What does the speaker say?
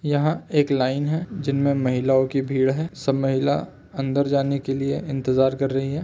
यहाँ एक लाइन है जिनमे महिलाओ की भीड़ है। सब महिला अंदर जाने के लिए इंतजार कर रही हैं।